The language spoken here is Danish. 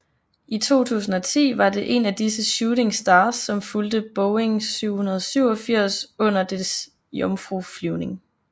I 2010 var det en af disse Shooting Stars som fulgte Boeing 787 under dens jomfruflyvning